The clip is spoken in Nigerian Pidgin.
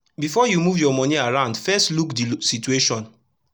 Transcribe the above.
before u move ur moni around fess look d situation